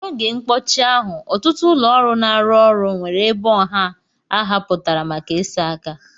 N'oge mkpọchi ahụ, ọtụtụ ụlọ ọrụ na-arụ ọrụ nwere ebe ọha ahapụtara maka ịsa aka.